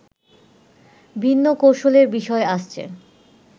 ভিন্ন কৌশলের বিষয় আসছে